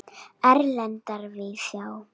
Erlenda víðsjá.